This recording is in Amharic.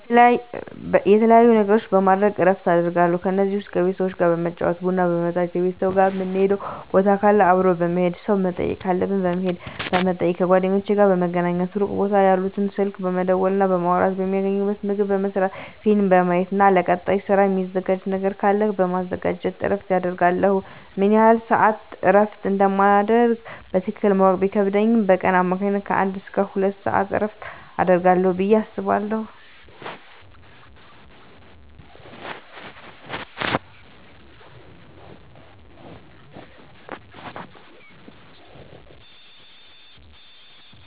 የተለያዩ ነገሮችን በማድረግ እረፍት አደርጋለሁ ከነዚህም ውስጥ ከቤተሰብ ጋር በመጫወት ቡና በመጠጣት ከቤተሰብ ጋር ምንሄድበት ቦታ ካለ አብሮ በመሄድ ሰው መጠየቅ ካለብን በመሄድና በመጠየቅ ከጓደኞቼ ጋር በመገናኘትና ሩቅ ቦታ ያሉትን ስልክ በመደወልና በማውራት የሚያስፈልገኝን ምግብ በመስራት ፊልም በማየት ለቀጣይ ስራ ሚዘጋጅ ነገር ካለ በማዘጋጀት እረፍት አደርጋለሁ። ምን ያህል ስዓት እረፍት እንደማደርግ በትክክል ማወቅ ቢከብድም በቀን በአማካኝ ከአንድ እስከ ሁለት ሰዓት እረፍት አደርጋለሁ ብየ አስባለሁ።